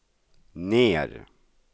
ner